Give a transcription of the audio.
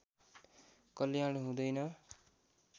कल्याण हुँदैन